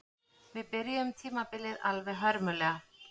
Við byrjuðum tímabilið alveg hörmulega